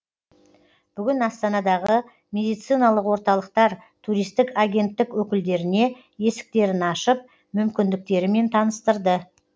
бүгін астанадағы медициналық орталықтар туристік агенттік өкілдеріне есіктерін ашып мүмкіндіктерімен таныстырды